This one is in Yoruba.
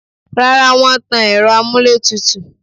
Rárá, wọ́n tan ẹ̀rọ amúlétùtù